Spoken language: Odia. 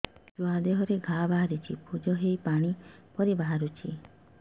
ଛୁଆ ଦେହରେ ଘା ବାହାରିଛି ପୁଜ ହେଇ ପାଣି ପରି ବାହାରୁଚି